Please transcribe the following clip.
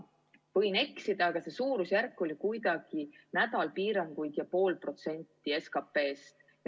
Võin eksida, aga suurusjärk oli kuidagi selline, et nädal piiranguid ja pool protsenti SKP-st.